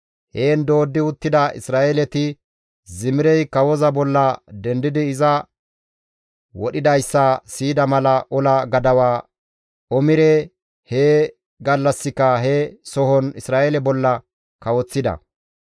Heen dooddi uttida Isra7eeleti Zimirey kawoza bolla dendidi iza wodhidayssa siyida mala ola gadawa Omire he gallassika he sohon Isra7eele bolla kawoththida.